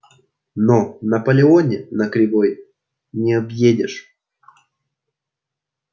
но наполеоне на кривой не объедешь